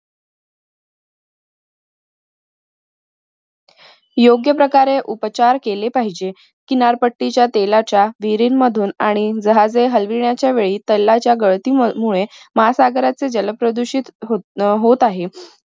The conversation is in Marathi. योग्य प्रकारे उपचार केले पाहिजे. किनारपट्टीच्या तेलाच्या विहरीनमधून आणि जहाजे हलविण्याचा वेळी तेलाच्या गळतीमुळे महासागरचे जल प्रदूषित होत आहे